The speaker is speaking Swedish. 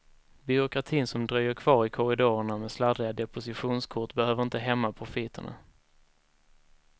Byråkratin som dröjer kvar i korridorerna med sladdriga depositionskort behöver inte hämma profiterna.